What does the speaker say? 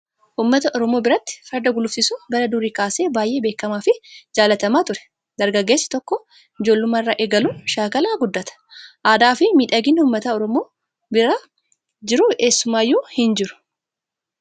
Uummata oromoo biratti farda gulufsiisuun bara durii kaasee baay'ee beekamaa fi jaallatamaa ture. Dargaggeessi tokko ijoollummaa irraa eegaluun shaakalaa guddata. Aadaa fi miidhaginni uummata oromoo bira jiru eessumayyuu hin jiru.